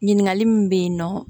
Ɲininkali min bɛ yen nɔ